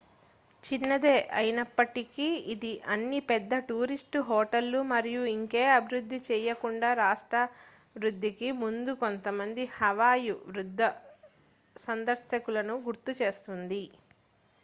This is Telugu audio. చిన్నదే అయినప్పటికీ ఇది అన్ని పెద్ద టూరిస్ట్ హోటళ్ళు మరియు ఇంకే అభివృద్ధి చేయకుండా రాష్ట్రావధికి ముందు కొంతమంది హవాయ్ వృద్ధ సందర్శకులను గుర్తుచేస్తుంది